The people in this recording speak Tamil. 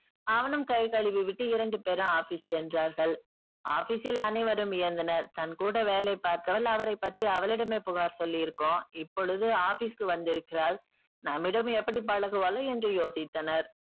அவனும் கை கழுவி விட்டு இரண்டு பேரும் office சென்றார்கள். office ல் அனைவரும் வியந்தனர். தன் கூட வேலை பார்த்தவள் அவரை பற்றி அவளிடமே புகார் சொல்லியிருக்கோம் இப்பொழுது office க்கு வந்திருக்கிறாள் நம்மிடம் எப்படி பழகுவாளோ என்று யோசித்தனர்.